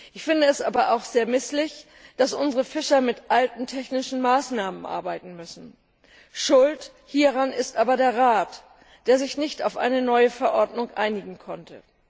Ich finde es aber auch sehr misslich, dass unsere Fischer mit alten technischen Maßnahmen arbeiten müssen. Schuld hieran ist aber der Rat, der sich nicht auf eine neue Verordnung einigen konnte.